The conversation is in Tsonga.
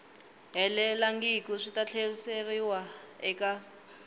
helelangiku swi ta tlheriseriwa eka